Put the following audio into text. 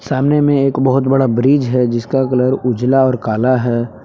सामने मे एक बहोत बड़ा ब्रिज है जिसका रंग उजला और काला है।